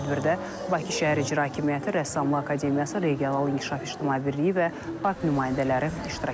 Tədbirdə Bakı Şəhər İcra Hakimiyyəti, Rəssamlıq Akademiyası, Regional İnkişaf İctimai Birliyi və park nümayəndələri iştirak ediblər.